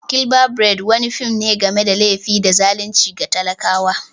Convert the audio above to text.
"Killer bride" wani fim ne game da laifi da zalunci ga talakawa.